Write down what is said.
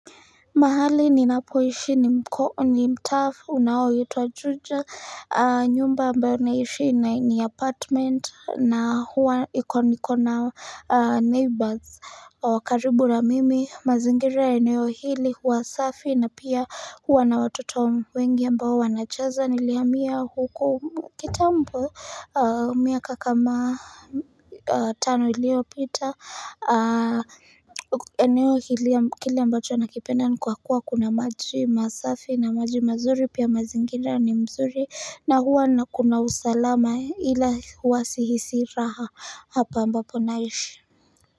Mahali ninapoishi ni mtaa unaoitwa juja nyumba ambayo naishi ni apartment na huwa nikona neighbors wa karibu na mimi mazingira eneo hili huwa safi na pia huwa na watoto wengi ambao wanacheza nilihamia huku kitambo miaka kama tano iliyopita eneo hili ya kile ambacho nakipenda ni kwa kuwa kuna maji masafi na maji mazuri pia mazingira ni mzuri na huwa nakuna usalama ila huwa sihisi raha hapa ambapo naishi.